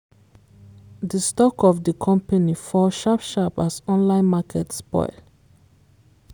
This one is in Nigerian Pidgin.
di stock of di company fall sharp sharp as online market spoil.